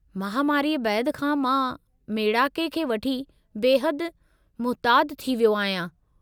महामारी बैदि खां मां मेड़ाके खे वठी बेहदु मुहतातु थी वियो आहियां।